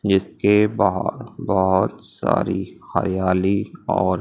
जिसके बाहर बहोत सारी हरियाली और--